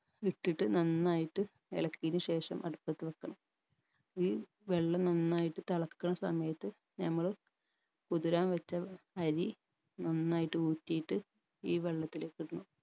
ഇട്ടിട്ട് നന്നായിട്ട് ഇളക്കിയതിന് ശേഷം അടുപ്പത്ത് വെക്കണം ഈ വെള്ളം നന്നായി തെളക്കണ സമയത്ത് നമ്മള് കുതിരാൻ വെച്ച അരി നന്നായിട്ട് ഊറ്റിയിട്ട് ഈ വെള്ളത്തിലേക്കിടണം